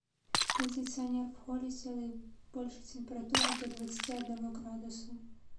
кондиционер в холле сделай больше температуру до двадцати одного градуса